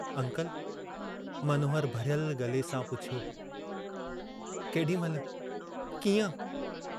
Uncle, Manohar भरियल गले सां पुछियो, केडी महिल, कींअं?